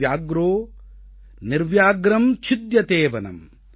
நிர்வனோ பத்யதே வ்யாக்ரோ நிர்வ்யாக்ரம் சித்யதே வனம்